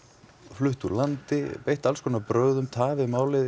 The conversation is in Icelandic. flutt úr landi beitt alls konar brögðum tafið málið